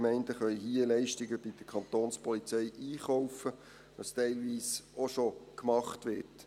Die Gemeinden können hier Leistungen bei der Kantonspolizei einkaufen, was teilweise auch schon gemacht wird.